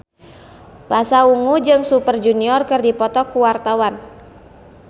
Pasha Ungu jeung Super Junior keur dipoto ku wartawan